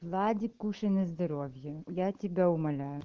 владик кушай на здоровье я тебя умоляю